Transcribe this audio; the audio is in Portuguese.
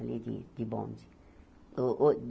Ali de de bonde. Ôh ôh